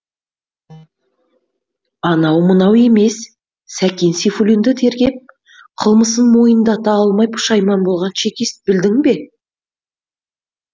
анау мынау емес сәкен сейфуллинді тергеп кылмысын мойындата алмай пұшайман болған чекист білдің бе